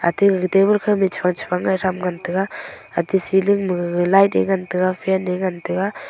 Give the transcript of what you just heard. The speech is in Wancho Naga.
tegaga table khame chefang chefang ngai ngan tega hatey seling magaga light e ngan tega fan e ngan tega.